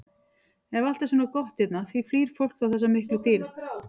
Ef allt er svona gott hérna, því flýr þá fólk þessa miklu dýrð?